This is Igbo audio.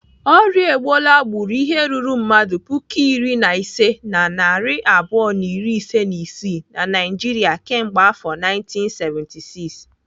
Orịa Ebola gburu ihe ruru mmadụ puku iri na ise na narị abụọ na iri ise na isii na Naijiria kemgbe afọ 1976.